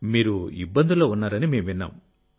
మీరు ఇబ్బందుల్లో ఉన్నారని మేము విన్నాము